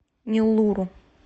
неллуру